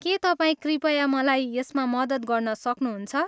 के तपाईँ कृपया मलाई यसमा मद्दत गर्न सक्नुहुन्छ?